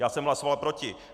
Já jsem hlasoval proti.